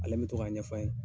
Ale bɛ to k' a ɲɛfɔ an ye